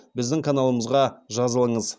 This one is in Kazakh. біздің каналымызға жазылыңыз